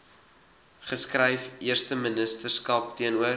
geskryf eersteministerskap teenoor